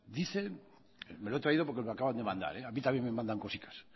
dice me lo he traído porque me lo acaban de mandar a mí también me mandan cosicas